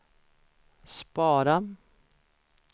spara